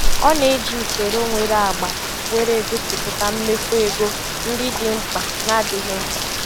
Ọ na-eji usoro nwere agba were egosịpụta mmefu ego ndị dị mkpa na ndị adịghị mkpa.